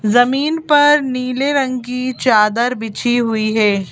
जमीन पर नीले रंग की चादर बिछी हुई है।